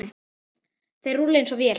Þeir rúlla eins og vél.